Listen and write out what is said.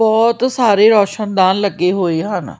ਬਹੁਤ ਸਾਰੇ ਰੌਸ਼ਨ ਦਾਨ ਲੱਗੇ ਹੋਏ ਹਨ।